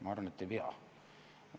Ma arvan, et ei pea.